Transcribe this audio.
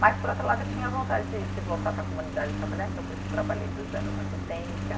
Mas, por outro lado, eu tinha vontade de de voltar para a comunidade e trabalhar, então por isso trabalhei dois anos na assistência.